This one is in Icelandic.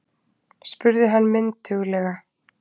spurði hann mynduglega.